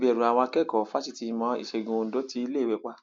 nítorí ìbẹrù àwọn akẹkọọ fásitì ìmọ ìṣègùn ondo ti iléèwé pa